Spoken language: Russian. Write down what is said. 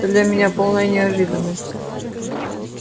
для меня полная неожиданность